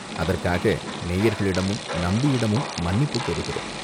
அதற்காக நேயர்களிடமும், நம்பியிடமும் மன்னிப்புக் கோருகிறோம்.